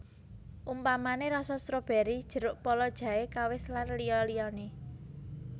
Umpamané rasa strobéry jeruk pala jahe kawis lan liya liyané